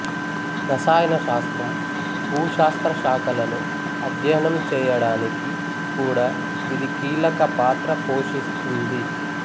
రసాయన శాస్త్రం భూశాస్త్ర శాఖలను అధ్యయనం చేయడానికి కూడా ఇది కీలక పాత్ర పోషిస్తుంది